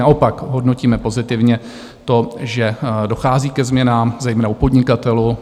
Naopak, hodnotíme pozitivně to, že dochází ke změnám, zejména u podnikatelů.